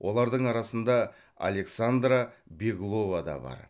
олардың арасында александра беглова да бар